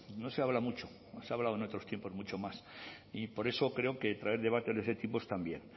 no se habla mucho se ha hablado en otros tiempos mucho más y por eso creo que traer debates de este tipo está bien